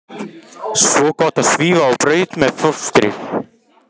Svo gott að svífa á braut með fóstru.